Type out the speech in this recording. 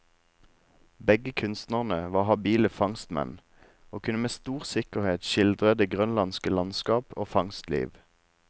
Begge kunstnerne var habile fangstmenn, og kunne med stor sikkerhet skildre det grønlandske landskap og fangstliv.